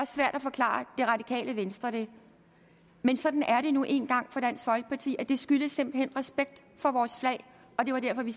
svært at forklare det radikale venstre det men sådan er det nu engang for dansk folkeparti det skyldes simpelt hen respekt for vores flag og det var derfor vi